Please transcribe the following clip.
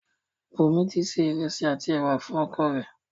Bùńmi ti se ìrẹ̀sì àti ẹ̀wà fún oko rẹ̀.